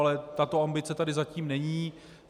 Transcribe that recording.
Ale tato ambice tady zatím není.